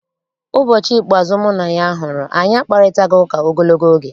Ụbọchị ikpeazụ mụ na ya hụrụ, anyị akparịtaghị ụka ogologo oge.